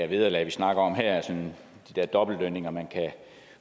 vederlag vi snakker om her de der dobbeltlønninger man kan